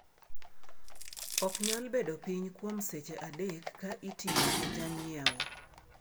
"Ok nyal bedo piny kuom seche adek ka itiyo ne janyiewo."